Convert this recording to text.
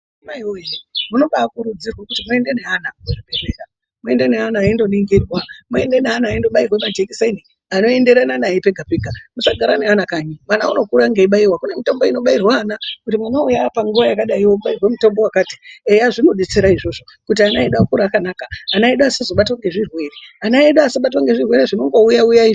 Maiwoye munobakurudzirwe kuti muende neana kuzvibhedhlera, muende neana eindoningirwa, muende neana endobairwe majekiseni anoenderana naye pega pega musagara neana kanyi vana vano vanokura ngeibaiwa kune mitombo inobairwa ana kuti mwana uyu apanguwa yakadai obairwe mutombo wakati eya zvinodetsera izvozvo kuti ana edu akure akanaka, ana edu asazobatwa ngezvirwere ana edu asabatwa nezvirwere zvinongouya uya izvi.